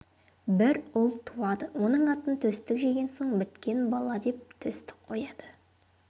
бір ұл туады оның атын төстік жеген соң біткен бала деп төстік қояды